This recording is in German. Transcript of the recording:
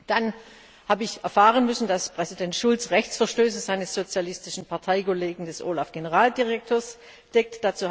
Dann habe ich erfahren müssen, dass Präsident Schulz Rechtsverstöße seines sozialistischen Parteikollegen, des OLAF Generaldirektors, deckt.